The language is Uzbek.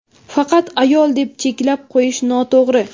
Faqat ayol deb cheklab qo‘yish noto‘g‘ri.